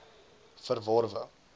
verworwe